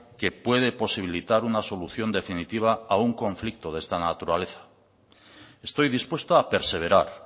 que puede posibilitar una solución definitiva a un conflicto de esta naturaleza estoy dispuesto a perseverar